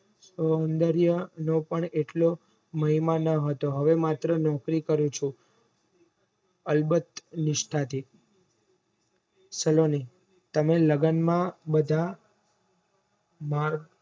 સૌન્દર્ય નો પણ એટલો નેહ્માનો હતો હવે માત્ર નોકરી કરે છે અલબત નિષ્ઠા થી સલોની તમે લગન માં બધા